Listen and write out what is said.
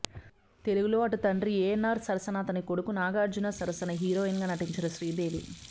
తెలుగులో అటు తండ్రి ఏన్నార్ సరసనా అతని కొడుకు నాగార్జున సరసనా హీరోయిన్ గా నటించిన శ్రీదేవి